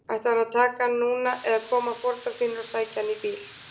Ætlarðu að taka hann núna eða koma foreldrar þínir og sækja hann í bíl?